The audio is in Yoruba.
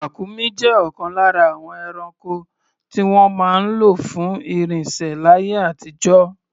Ràkúnmí jẹ́ ọ̀kan lára àwọn ẹranko tí wọ́n máa ń lò fún ìrìnsẹ̀ láyé àtijọ́.